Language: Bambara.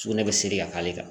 Sugunɛ bɛ se ka k'ale kan